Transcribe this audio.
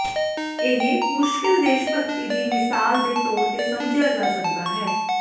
ਇਹ ਮੁਸ਼ਕਿਲ ਦੇਸ਼ਭਗਤੀ ਦੀ ਮਿਸਾਲ ਦੇ ਤੌਰ ਤੇ ਸਮਝਿਆ ਜਾ ਸਕਦਾ ਹੈ